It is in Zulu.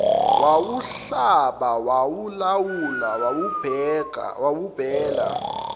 wawuhlaba wawulawula wabikela